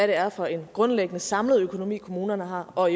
det er for en grundlæggende samlet økonomi kommunerne har og